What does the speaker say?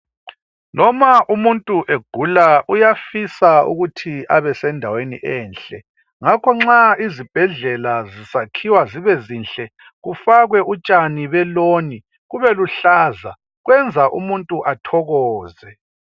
Noma umuntu egula uyafisa ukuba abesendaweni enhle ngakho nxa izibhedlela zisakhiwa zibezinhle kufakwe utshani beloan kubeluhlaza .Kwenza umuntu athokoze.